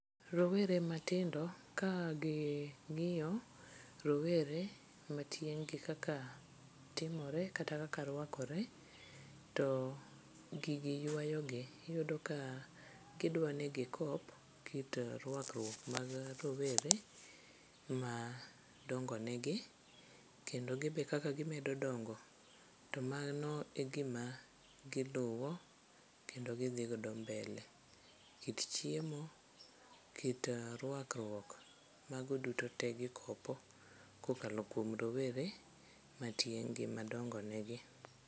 Rowere matindo kaging'iyo rowere matieng'gi kaka timore kata kaka rwakore to gigi ywayogi. Iyudo ka gidwa ni gikop kit rwakruok mag rowere madongonegi kendo gibe kaka gimedo dongo to mano e gima giluwo kendo gidhigodo mbele. Kit chiemo, kit rwakruok mago duto te gikopo kokalo kuom rowere matieng'gi madongonegi.